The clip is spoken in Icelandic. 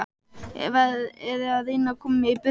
Er verið að reyna að koma mér í burtu?